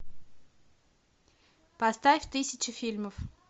поставь тысяча фильмов